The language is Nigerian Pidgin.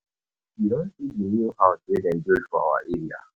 You don see the new house wey dem build for our area?